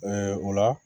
o la